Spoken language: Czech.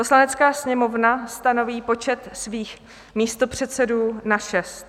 "Poslanecká sněmovna stanoví počet svých místopředsedů na šest."